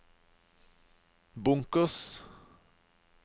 bunkers